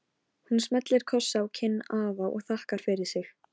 Ég er strax farinn að sakna hennar.